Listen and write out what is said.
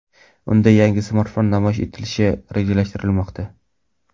Unda yangi smartfon namoyish etilishi rejalashtirilmoqda.